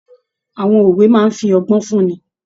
Àwọn òwe máa n fí ọgbọn fún ní.